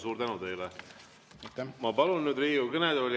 Suur tänu teile!